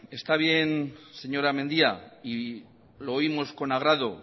está bien señora mendia y lo oímos con agrado